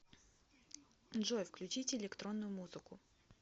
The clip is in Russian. джой включите электронную музыку